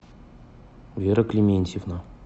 вера климентьевна